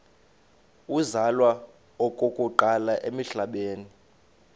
uzalwa okokuqala emhlabeni